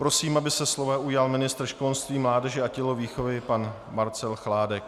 Prosím, aby se slova ujal ministr školství, mládeže a tělovýchovy pan Marcel Chládek.